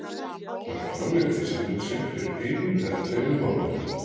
Hann framlengdi samning sinn fyrir einum eða tveimur mánuðum.